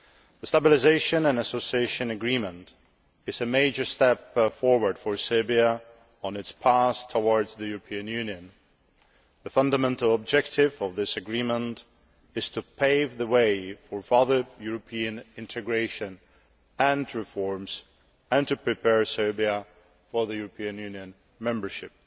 The Stabilisation and Association Agreement is a major step forward for Serbia on its path towards the European Union. The fundamental objective of this agreement is to pave the way for further European integration and reforms and to prepare Serbia for European Union membership.